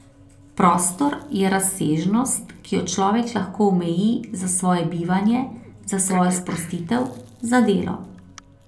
Prostor je razsežnost, ki jo človek lahko omeji za svoje bivanje, za svojo sprostitev, za delo ...